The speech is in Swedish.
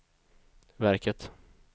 verket